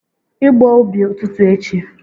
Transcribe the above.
igbo ubi ututu echi!